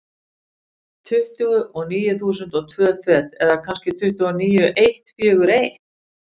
Tuttugu og níu þúsund og tvö fet, eða kannski tuttugu og níu eitt fjögur eitt.